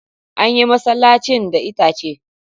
An yi masallacin da itace.